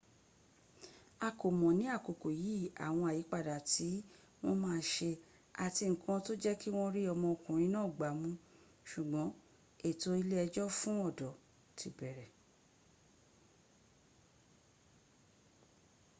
a kò mọ̀ ní àkókò yí àwọn àyípadà tí wọ́n ma ṣe àti nkan tó jẹ́kí wọ́n rí ọmọ okùnrin náà gbámú ṣùgbọ́n ètò ilé ẹjọ́ fún ọ̀dọ́ ti bẹ̀rẹ̀